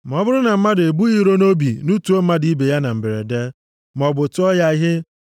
“ ‘Ma ọ bụrụ na mmadụ ebughị iro nʼobi nutuo mmadụ ibe ya na mberede, maọbụ tụọ ya ihe,